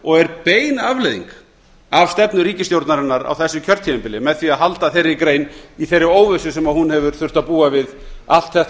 og er bein afleiðing af stefnu ríkisstjórnarinnar á þessu kjörtímabili með því að halda þeirri grein í þeirri óvissu sem hún hefur þurft að búa við allt þetta